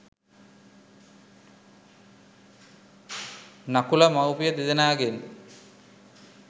නකුල මවුපිය දෙදෙනාගෙන්